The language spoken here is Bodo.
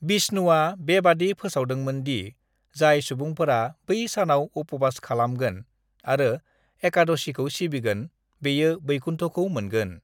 "बिष्णुआ बेबादि फोसावदोंमोन दि जाय सुबुंफोरा बै सानाव उपवास खालामगोन आरो एकादशीखौ सिबिगोन, बेयो बैकुन्ठखौ मोनगोन।"